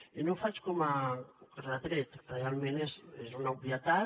i no ho faig com a retret realment és una obvietat